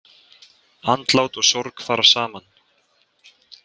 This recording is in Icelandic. Andlát og sorg fara saman.